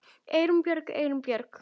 Eyrún Björg Eyrún Björg